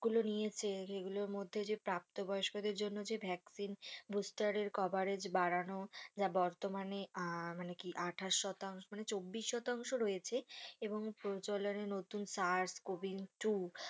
গুলো নিয়েছে যে গুলোর মধ্যে যে প্রাপ্ত বয়স্কদের জন্য যে ভ্যাকসিন booster এর coverage বাড়ানো যা বর্তমান আহ মানে কি আঠাশ শতাংশ মানে চব্বিশ শতাংশ রয়েছে এবং প্রচল এর নতুন SARSCOV two.